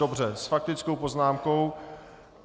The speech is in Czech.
Dobře, s faktickou poznámkou.